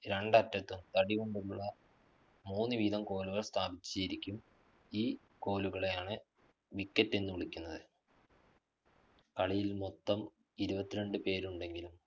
രണ്ടറ്റത്ത് തടികൊണ്ടുള്ള മൂന്ന് വീതം കോലുകള്‍ സ്ഥാപിച്ചിരിക്കും. ഈകോലുകളെയാണ് wicket എന്ന് വിളിക്കുന്നത്. കളിയില്‍ മൊത്തം ഇരുപത്തിരണ്ടു പേരുണ്ടെങ്കിലും